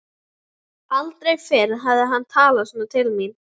Aldrei fyrr hafði hann talað svona til mín.